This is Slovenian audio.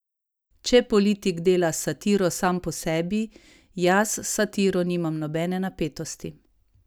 Če politik dela satiro sam po sebi, jaz s satiro nimam nobene napetosti.